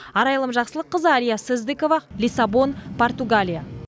арайлым жақсылыққызы әлия сыздыкова лиссабон португалия